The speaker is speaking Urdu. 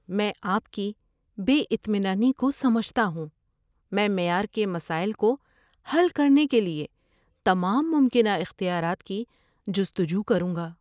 میں آپ کی بے اطمینانی کو سمجھتا ہوں، میں معیار کے مسائل کو حل کرنے کے لیے تمام ممکنہ اختیارات کی جستجو کروں گا۔